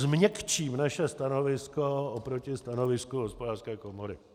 Změkčím naše stanovisko proti stanovisku Hospodářské komory.